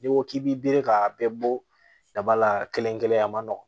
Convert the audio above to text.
N'i ko k'i b'i bere k'a bɛɛ bɔ daba la kelen kelen a ma nɔgɔ